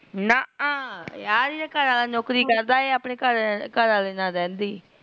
ਨਾਕਾ ਯਾਰ ਇਹਦਾ ਘੱਰ ਵਾਲਾਂ ਨੋਕਰੀ ਕਰਦਾ ਇਹ ਆਪਣੇ ਘਰ ਵਾਲੇ ਨਾਲ ਰਿਹੰਦੀ